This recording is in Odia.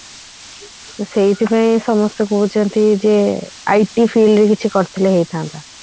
ତ ସେଇଥି ପାଇଁ ସମସ୍ତେ କହୁଛନ୍ତି ଯେ IT field ରେ କିଛି କରିଥିଲେ ହେଇଥାନ୍ତା